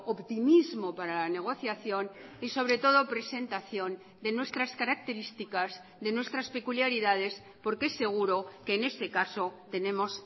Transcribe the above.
optimismo para la negociación y sobre todo presentación de nuestras características de nuestras peculiaridades porque seguro que en ese caso tenemos